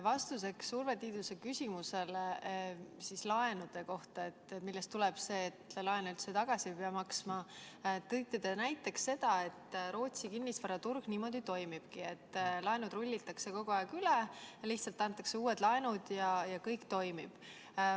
Vastuseks Urve Tiiduse küsimusele laenude kohta, millest tuleb see, et laenu üldse tagasi ei pea maksma, tõite te näiteks selle, et Rootsi kinnisvaraturg niimoodi toimibki, et laenud rullitakse kogu aeg üle ja antakse lihtsalt uued laenud ja kõik toimib.